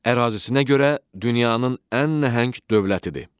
Ərazisinə görə dünyanın ən nəhəng dövlətidir.